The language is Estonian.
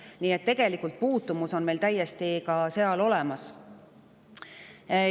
Nii et tegelikult on meil puutumus sellega täiesti olemas.